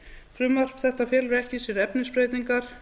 frumvarp þetta felur ekki í sér efnisbreytingar